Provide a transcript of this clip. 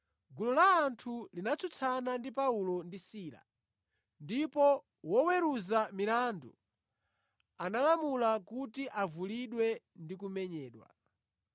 Gulu la anthu linatsutsana ndi Paulo ndi Sila, ndipo woweruza milandu analamula kuti avulidwe ndi kumenyedwa.